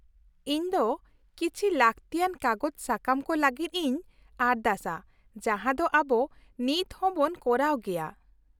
-ᱤᱧ ᱫᱚ ᱠᱤᱪᱷᱤ ᱞᱟᱹᱠᱛᱤᱭᱟᱱ ᱠᱟᱜᱚᱡᱽ ᱥᱟᱠᱟᱢ ᱠᱚ ᱞᱟᱹᱜᱤᱫ ᱤᱧ ᱟᱨᱫᱟᱥᱟ ᱡᱟᱦᱟᱸ ᱫᱚ ᱟᱵᱚ ᱱᱤᱛ ᱦᱚᱸ ᱵᱚᱱ ᱠᱚᱨᱟᱣ ᱜᱮᱭᱟ ᱾